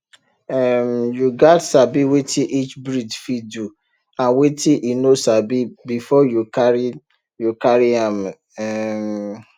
um you gats sabi wetin each breed fit do and wetin e no sabi before you carry you carry am um